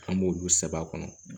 An b'olu sɛbɛ a kɔnɔ